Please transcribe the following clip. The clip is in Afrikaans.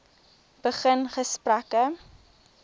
begin gesprekke